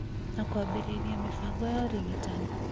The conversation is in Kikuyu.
na kwambĩrĩria mĩbango ya ũrigitani,